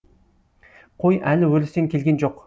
қой әлі өрістен келген жоқ